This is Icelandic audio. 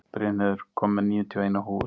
Brynheiður, ég kom með níutíu og eina húfur!